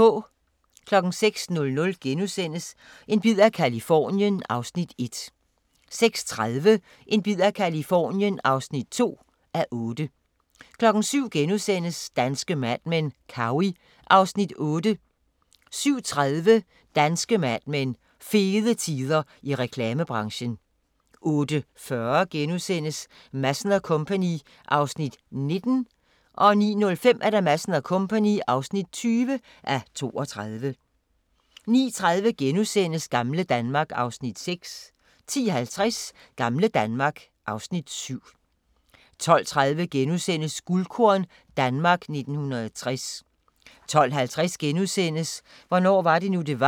06:00: En bid af Californien (1:8)* 06:30: En bid af Californien (2:8) 07:00: Danske Mad Men: Cowey (Afs. 8)* 07:30: Danske Mad Men: Fede tider i reklamebranchen 08:40: Madsen & Co. (19:32)* 09:05: Madsen & Co. (20:32) 09:30: Gamle Danmark (Afs. 6)* 10:50: Gamle Danmark (Afs. 7) 12:30: Guldkorn - Danmark 1960 * 12:50: Hvornår var det nu, det var? *